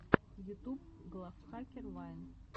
ютуб глав хакер вайн